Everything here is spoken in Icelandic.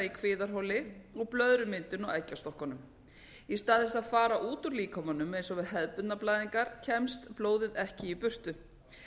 í kviðarholinu og blöðrumyndun á eggjastokkunum í stað þess að fara út úr líkamanum eins og við hefðbundnar blæðingar kemst blóðið ekki í burtu